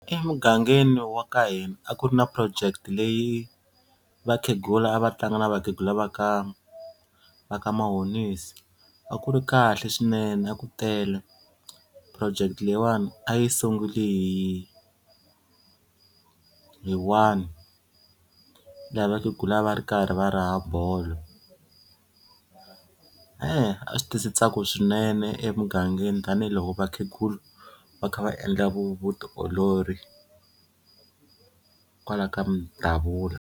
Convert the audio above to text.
Emugangeni wa ka hina a ku ri na project leyi vakhegula a va tlanga na vakhegula va ka va ka Mahonisi a ku ri kahle swinene a ku tele. Project leyiwani a yi sungule hi hi one laha vakhegula a va ri karhi va ra bolo a swi tisi ntsako swinene emugangeni tanihiloko vakhegula va kha va endla vu vutiolori kwala ka Mdavula.